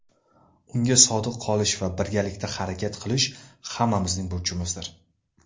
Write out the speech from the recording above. Unga sodiq qolish va birgalikda harakat qilish hammamizning burchimizdir.